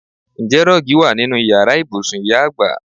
Ǹjẹ́ rọ́ọ́gì wa nínú Ìyàrá ibùsùn ìyá àgbà?